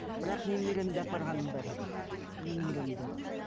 бірақ немеремді апарғаным бар немеремді